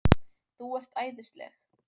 ÞÚ ERT ÆÐISLEG!